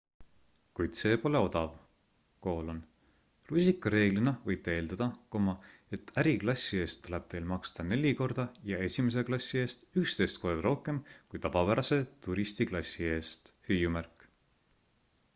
kuid see pole odav rusikareeglina võite eeldata et äriklassi eest tuleb teil maksta neli korda ja esimese klassi eest 11 korda rohkem kui tavapärase turistiklassi eest